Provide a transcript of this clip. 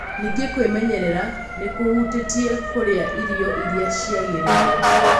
Ningĩ kwĩmenyerera nĩ kũhutĩtie kũrĩa irio iria ciagĩrĩire.